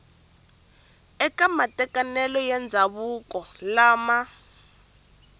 eka matekanelo ya ndzhavuko lama